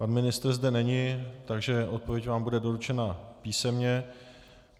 Pan ministr zde není, takže odpověď vám bude doručena písemně.